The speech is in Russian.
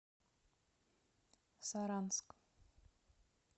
саранск